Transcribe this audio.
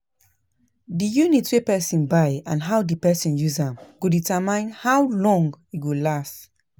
Di unit wey person buy and how di person use am go determine how long e go last